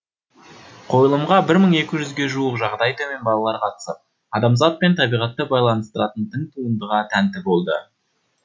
қойылымға бір мың екі жүзге жуық жағдайы төмен балалар қатысып адамзат пен табиғатты байланыстыратын тың туындыға тәнті болды